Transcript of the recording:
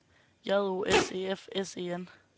J O S E F S E N